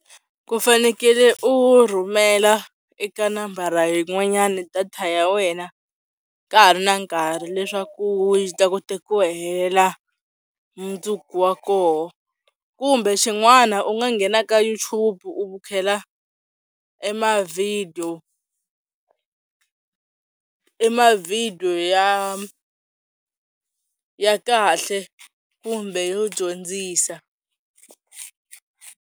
Ku fanekele u rhumela eka nambara yin'wanyana data ya wena ka ha ri na nkarhi leswaku u ta kota ku hela mundzuku wa koho, kumbe xin'wana u nga nghena ka YouTube u bukhela e ma-video ma-video ya ya kahle kumbe yo dyondzisa.